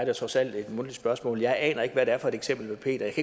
jo trods alt et mundtligt spørgsmål jeg aner ikke hvad det er for et eksempel med peter